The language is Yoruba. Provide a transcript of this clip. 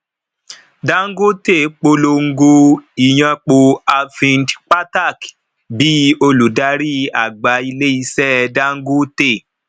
dangote polongo ìyàn pò arvind pathak bí olùdarí àgbà ilé ìṣe dangote